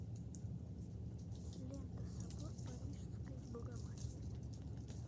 лента собор парижской богоматери